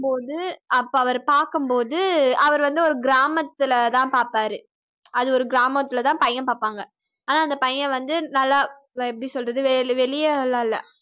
பார்க்கும்போது அப்ப அவர பார்க்கும்போது அவர் வந்து ஒரு கிராமத்தில தான் பார்ப்பாரு. அதுல ஒரு கிராமத்தில தான் பையன் பார்ப்பாங்க. ஆனா அந்தப் பையன் வந்து நல்லா எப்படி சொல்றது வெளி~ வெளியல்லாம்ல்ல